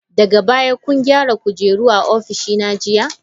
Daga baya kun gyara kujera a ofishina jiya?